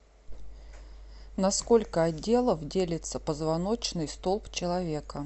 на сколько отделов делится позвоночный столб человека